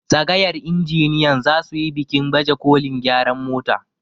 tsagayar injiniyan za su yi bikin bajekolin gyaran mota